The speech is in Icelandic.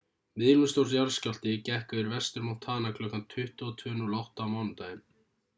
miðlungsstór jarðskjálfti gekk yfir vestur-montana kl 22:08 á mánudaginn